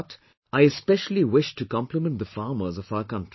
But, I especially wish to compliment the farmers of our country